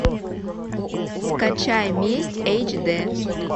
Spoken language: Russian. скачай месть эйч д